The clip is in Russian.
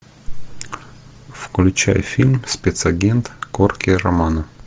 включай фильм спецагент корки романо